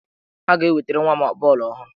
Ha ga-ewetere nwa m bọọlụ ọhụrụ.